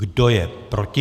Kdo je proti?